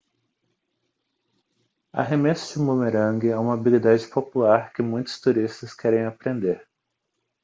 arremesso de bumerangue é uma habilidade popular que muitos turistas querem aprender